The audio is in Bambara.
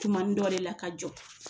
Tumani dɔw de la ka jɔ